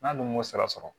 N'a dun m'o sara sɔrɔ